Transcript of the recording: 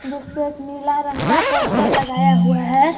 जिसपे एक नीला रंग का पोस्टर लगाया हुआ है।